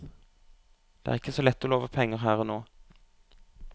Det er ikke så lett å love penger her og nå.